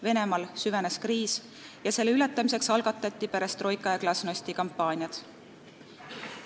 Venemaal süvenes kriis ning selle ületamiseks algatati perestroika ja glasnosti kampaania.